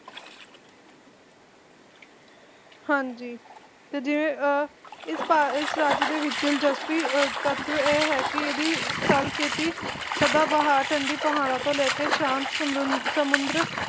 ਹਾਂਜੀ ਤੇ ਜਿਵੇਂ ਇਸ ਰਾਜ੍ਯ ਦੇ ਵਿਚ ਦਿਲਚਸਪੀ ਤਤ੍ਵ ਇਹ ਹੈ ਕਿ ਇਹ ਸਦਾਬਹਾਰ ਠੰਡੀ ਪਹਾੜਾਂ ਤੋਂ ਲੈ ਕੇ ਸ਼ਾਂਤ ਸਮੁੰਦਰ